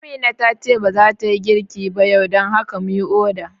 Amina tace ba zata yi girki ba yau, dan haka mu yi oda